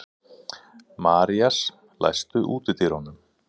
Marías, læstu útidyrunum.